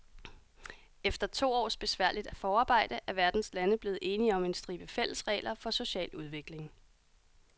Efter to års besværligt forarbejde er verdens lande blevet enige om en stribe fælles regler for social udvikling.